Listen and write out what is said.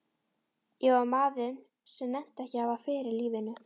Ég var maður sem nennti ekki að hafa fyrir lífinu.